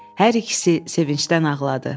Hər ikisi sevincdən ağladı.